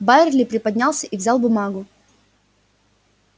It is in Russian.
байерли приподнялся и взял бумагу